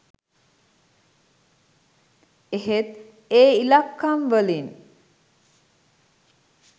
එහෙත් ඒ ඉලක්කම් වලින්